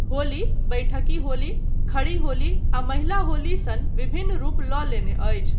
होली, बैठकी होली, खड़ी होली आ महिला होली सन विभिन्न रूप लऽ लेने अछि।